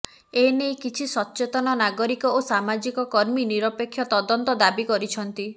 ଏ ନେଇ କିଛି ସଚେତନ ନାଗରିକ ଓ ସାମାଜିକ କର୍ମୀ ନିରପେକ୍ଷ ତଦନ୍ତ ଦାବି କରିଛନ୍ତି